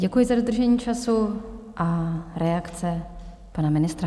Děkuji za dodržení času a reakce pana ministra.